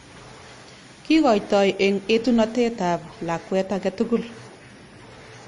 Kikoitoi eng etunotet ab lakwet age tugul.